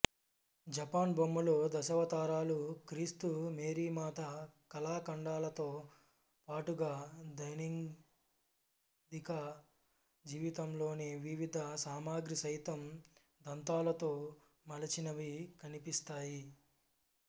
Japan బొమ్మలు దశావతారాలు క్రీస్తు మేరీమాత కళాఖండాలతో పాటుగా దైనందిక జీవితంలోని వివిధ సామగ్రి సైతం దంతాలతో మలచినవి కనిపిస్తాయి